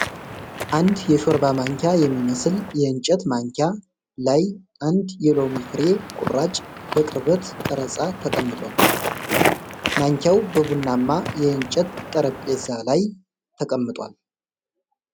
አንድ የሾርባ ማንኪያ የሚመስል የእንጨት ማንኪያ ላይ አንድ የሎሚ ፍሬ ቁራጭ በቅርበት ቀረጻ ተቀምጣል። ማንኪያው በቡናማ የእንጨት ጠረጴዛ ላይ ተቀምጧል።